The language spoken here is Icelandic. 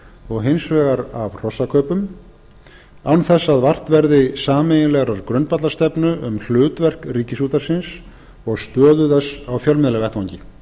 og hins vegar hrossakaupum án þess að vart verði sameiginlegrar grundvallarstefnu um hlutverk ríkisútvarpsins og stöðu þess á fjölmiðlavettvangi